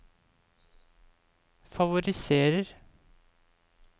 favoriserer